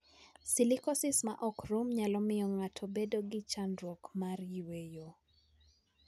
Silicosis ma ok rum nyalo miyo ng'ato obed gi chandruok mar yueyo.